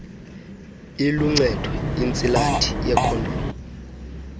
iluncedo intsilathi yekhondomu